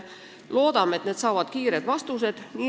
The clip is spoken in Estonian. Loodame, et need saavad kiired vastused.